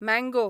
mango